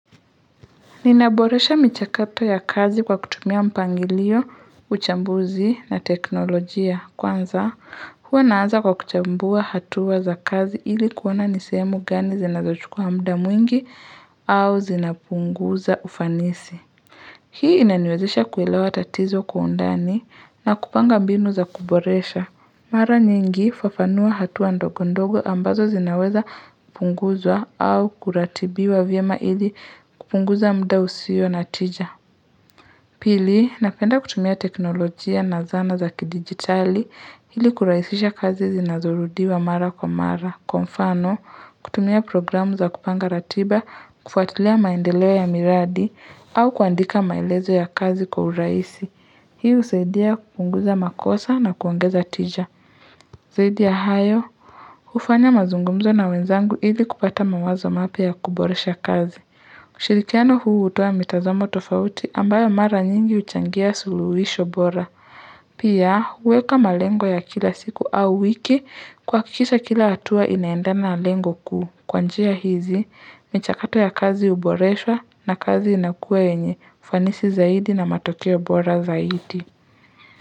Ninaboresha michakato ya kazi kwa kutumia mpangilio, uchambuzi na teknolojia kwanza huwa naanza kwa kuchambua hatua za kazi ili kuona nie sehmu gani zinazochukuwa muda mwingi au zinapunguza ufanisi. Hii inaniwezesha kuelewa tatizo kwa undani na kupanga mbinu za kuboresha. Mara nyingi fafanua hatua ndogo ndogo ambazo zinawezapunguzwa au kuratibiwa vyema ili kupunguza muda usio na tija. Pili, napenda kutumia teknolojia na zana za kidigitali ili kurahisisha kazi zinazorudiwa mara kwa mara. Kwa mfano, kutumia programu za kupanga ratiba, kufuatilia maendeleo ya miradi, au kuandika maelezo ya kazi kwa urahisi. Hii husaidia kupunguza makosa na kuongeza tija. Zaidi ya hayo, hufanya mazungumzo na wenzangu ili kupata mawazo mapya ya kuboresha kazi. Ushirikiano huu hutoa mitazamo tofauti ambayo mara nyingi huchangia suluhisho bora Pia huweka malengo ya kila siku au wiki kuhkikisa kila hatua inaendana na lengo kuu Kwa njia hizi, michakato ya kazi huboreswa na kazi inakuwa yenye, ufanisi zaidi na matokeo bora zaidi.